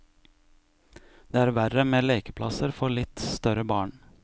Det er verre med lekeplasser for litt større barn.